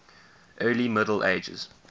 early middle ages